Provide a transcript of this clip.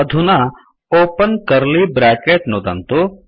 अधुना open curly bracket नुदन्तु